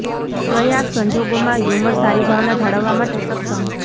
પ્રયાસ સંજોગોમાં હ્યુમર સારી ભાવના જાળવવા માટે સક્ષમ